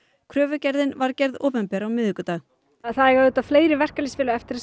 kröfugerðin var gerð opinber á miðvikudag það eiga auðvitað fleiri verkalýðsfélög eftir að